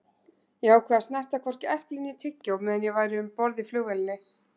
Ég ákvað að snerta hvorki epli né tyggjó meðan ég væri um borð í flugvélinni.